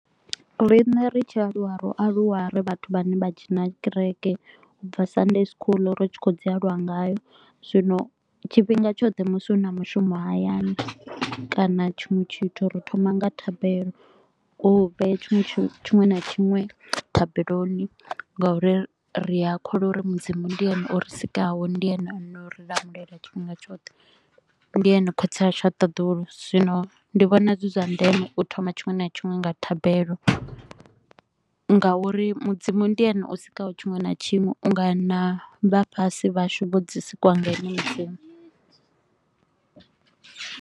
Rine ri tshi aluwa, ro aluwa ri vhathu vhane vha dzhena gereke, u bva Sunday School ri tshi khou dzi aluwa ngayo. Zwino tshifhinga tshoṱhe musi hu na mushumo hayani kana tshiṅwe tshithu ri thoma nga thabelo, u vhe tshiṅwe na tshiṅwe thabeloni nga uri ri a kholwa uri Mudzimu ndi ene o ri sikaho, ndi ene a no ri lamulela tshifhinga tshoṱhe. Ndi ene khotsi ashu wa ṱaḓulu, zwino ndi vhona zwi zwa ndeme u thoma tshiṅwe na tshiṅwe nga thabelo nga uri Mudzimu ndi ene o sikaho tshiṅwe na tshiṅwe u nga na vha fhasi vhashu vho dzi sikwa nga ene Mudzimu.